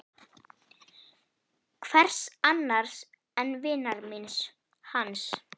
Hvers annars en vinar míns, hans